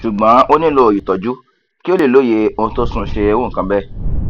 ṣùgbón ó nílò ìtójú kí ó lè lóye ohun tó ń sún un ṣe irú nǹkan béè